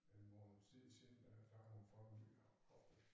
En måneds tid siden øh der har hun fået en ny hofte